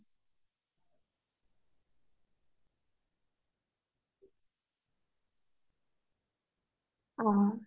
অ